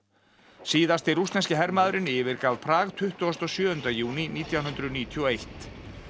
síðasti rússneski hermaðurinn yfirgaf Prag tuttugasta og sjöunda júní nítján hundruð níutíu og eitt